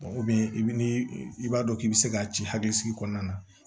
i bi ni i b'a dɔn k'i bɛ se k'a ci hakilisigi kɔnɔna na